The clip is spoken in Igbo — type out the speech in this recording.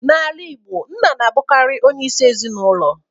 N'ala Igbo, Nna na-abụkarị onyeisi ezinụlọ.